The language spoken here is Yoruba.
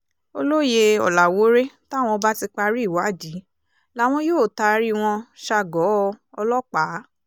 olóye ọ̀làwọ́ọ́rẹ́ táwọn bá ti parí ìwádìí làwọn yóò taari wọn ṣa·gọ̀ọ́ ọlọ́pàá